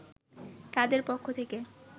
তাদের পক্ষ থেকে